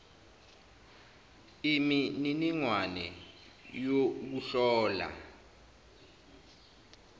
imi niningwane youkuhlola